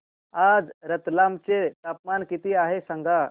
आज रतलाम चे तापमान किती आहे सांगा